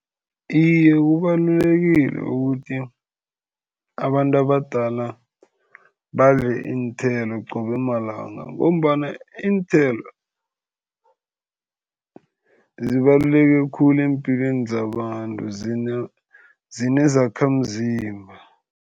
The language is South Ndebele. Iye, kubalulekile ukuthi abantu abadala badle iinthelo qobe malanga ngombana iinthelo, zibaluleke khulu empilweni zabantu zinezakhamzimba.